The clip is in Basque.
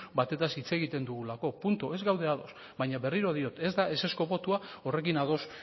batetaz hitz egiten dugulako puntu ez gaude ados baina berriro diot ez da ezezko botoa horrekin ados